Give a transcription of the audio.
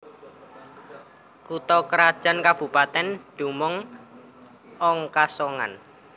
Kutha krajan kabupatèn dumunung ong Kasongan